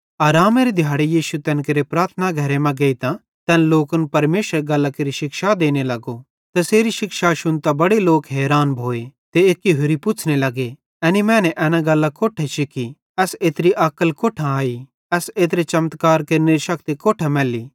आरामेरे दिहाड़े यीशु तैन केरे प्रार्थना घरे मां गेइतां तैन लोकन परमेशरेरी गल्लां केरि शिक्षा देने लगो तैसेरी शिक्षा शुन्तां बड़े लोक हैरान भोए ते एक्की होरि पुछ़्ने लग्गे एनी मैने एना गल्लां कोट्ठां शिख्खी एस एत्री अक्ल कोट्ठां आई एस एत्रे चमत्कार केरनेरी शक्ति कोट्ठां मैल्ली